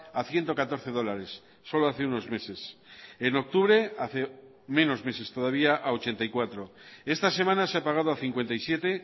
a ciento catorce dólares solo hace unos meses en octubre hace menos meses todavía a ochenta y cuatro esta semana se ha pagado a cincuenta y siete